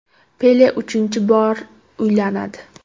Pele uchinchi bor uylanadi.